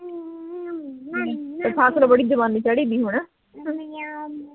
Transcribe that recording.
ਤੇਰੀ ਸੱਸ ਨੂੰ ਬੜੀ ਜਵਾਨੀ ਚੜੀ ਵੀ ਹੈਨਾ